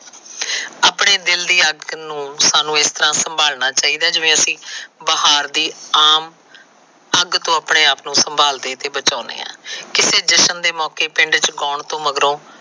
ਆਪਣੇ ਦਿਲ ਦੀ ਅੱਗ ਨੂੰ ਸਾਨੂੰ ਇਸ ਤਰਾ ਸੰਭਾਲਣਾ ਚਾਹੀਦਾ ਜਿਵੇ ਅਸੀ ਬਹਾਰ ਦੀ ਆਮ ਅੱਗ ਤੋ ਆਪਣੇ ਆਪ ਨੂੰ ਸੰਭਾਲਦੇ ਤੇ ਬਚਾਉਦੇ ਹਾਂ। ਕਿਸੀ ਜਸ਼ਨ ਦੇ ਮੌਕੇ ਪਿੰਡ ਕੌਣ ਟੋਹ ਮਗਰੋਂ